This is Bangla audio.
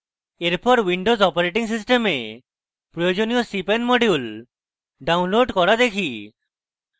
এরপর windows operating system প্রয়োজনীয় cpan modules download করা দেখি